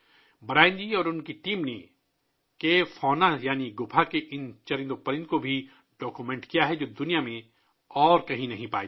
Brian ji اور ان کی ٹیم نے غار حیوانات یعنی غار کی ان مخلوقات کی دستاویز بھی کی ہے، جو دنیا میں کہیں نہیں پائی جاتیں